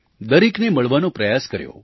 દરેકને મળવાનો પ્રયાસ કર્યો